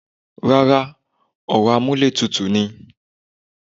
Rárá, ọ̀rọ̀ amúlẹ̀tutù ni.